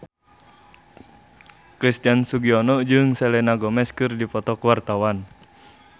Christian Sugiono jeung Selena Gomez keur dipoto ku wartawan